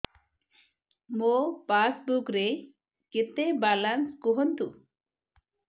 ମୋ ପାସବୁକ୍ ରେ କେତେ ବାଲାନ୍ସ କୁହନ୍ତୁ